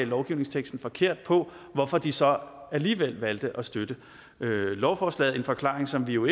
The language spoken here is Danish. lovgivningsteksten forkert på hvorfor de så alligevel valgte at støtte lovforslaget en forklaring som vi jo